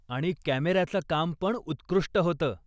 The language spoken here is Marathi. आणि कॅमेऱ्याचं काम पण उत्कृष्ठ होतं.